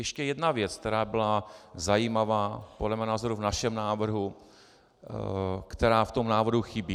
Ještě jedna věc, která byla zajímavá podle mého názoru v našem návrhu, která v tom návrhu chybí.